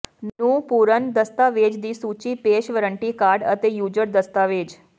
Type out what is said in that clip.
ਨੂੰ ਪੂਰਨ ਦਸਤਾਵੇਜ਼ ਦੀ ਸੂਚੀ ਪੇਸ਼ ਵਰੰਟੀ ਕਾਰਡ ਅਤੇ ਯੂਜ਼ਰ ਦਸਤਾਵੇਜ਼